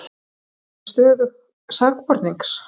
Hefur ekki stöðu sakbornings